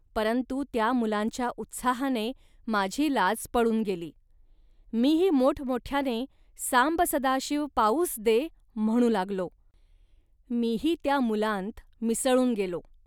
परंतु त्या मुलांच्या उत्साहाने माझी लाज पळून गेली. मीही मोठमोठ्याने 'सांब सदाशिव पाऊस दे' म्हणू लागलो, मीही त्या मुलांत मिसळून गेलो